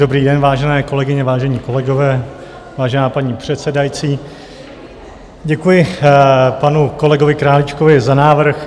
Dobrý den, vážené kolegyně, vážení kolegové, vážená paní předsedající, děkuji panu kolegovi Králíčkovi za návrh.